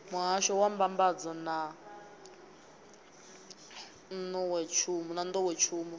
muhahsho wa mbambadzo na nḓowetshumo